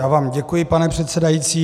Já vám děkuji, pane předsedající.